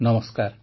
ନମସ୍କାର